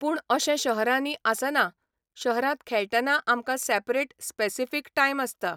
पूण अशें शहरांनी आसना शहरांत खेळटना आमकां सॅपरेट स्पेसिफीक टायम आसता.